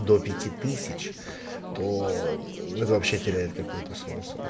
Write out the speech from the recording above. до пяти тысяч то вообще теряет какой-то свой